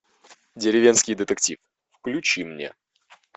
деревенский детектив включи мне